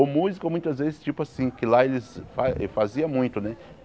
O músico, muitas vezes, tipo assim, que lá eles fa faziam muito, né?